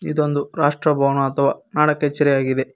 ಇದೊಂದು ರಾಷ್ಟ್ರ ಭವನ ಅಥವ ನಾಡ ಕಛೇರಿ ಆಗಿದೆ.